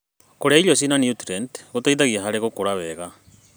Kũrĩa irio cina niutrienti gũteithagia harĩ gũkũra wega.